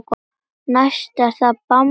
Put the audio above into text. Næst er það bambus.